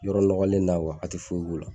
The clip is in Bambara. Yɔrɔ nɔgɔlen na a tɛ foyi k'u la